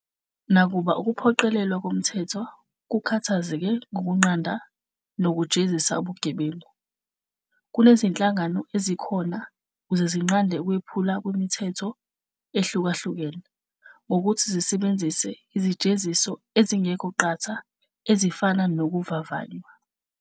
Nakuba ukuphoqelelwa komthetho kukhathazeke ngokunqanda nokujezisa ubugebengu, kunezinhlangano ezikhona ukuze zinqunde ukwephulwa kwemithetho ehlukahlukene, ngokuthi zisebenzise izijeziso ezingekho qatha ezifana nokuvavanywa.